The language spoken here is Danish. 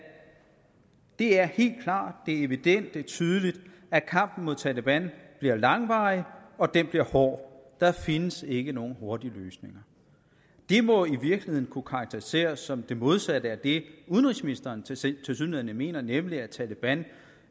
det er helt klart det er evident det er tydeligt at kampen mod taleban bliver langvarig og at den bliver hård der findes ikke nogen hurtige løsninger det må i virkeligheden kunne karakteriseres som det modsatte af det udenrigsministeren tilsyneladende mener nemlig at taleban